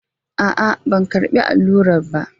A'a, ban karɓi allurar ba.